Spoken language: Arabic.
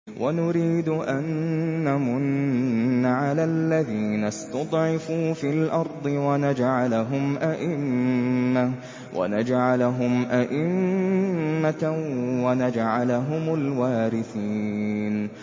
وَنُرِيدُ أَن نَّمُنَّ عَلَى الَّذِينَ اسْتُضْعِفُوا فِي الْأَرْضِ وَنَجْعَلَهُمْ أَئِمَّةً وَنَجْعَلَهُمُ الْوَارِثِينَ